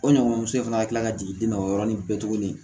O ɲɔgɔnmuso in fana ka kila ka jigin nɔ o yɔrɔnin bɛɛ tuguni